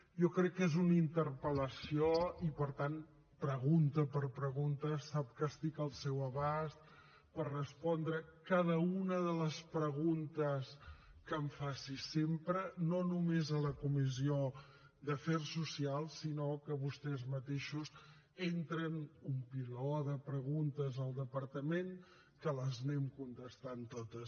jo crec que és una interpel·lació i per tant pregunta per pregunta sap que estic al seu abast per respondre a cada una de les preguntes que em faci sempre no només a la comissió d’afers socials sinó que vostès mateixos entren un piló de preguntes al departament que les anem contestant totes